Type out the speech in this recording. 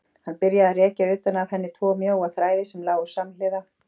Hann byrjaði að rekja utan af henni tvo mjóa þræði sem lágu samhliða.